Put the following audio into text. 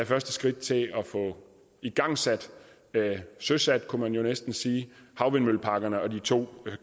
første skridt til at få igangsat søsat kunne man jo næsten sige havvindmølleparkerne og de to